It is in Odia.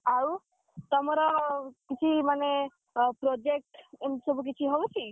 ଆଉ, ତମର, କିଛି ମାନେ, project ଏମତି ସବୁ କିଛି ହଉଛି?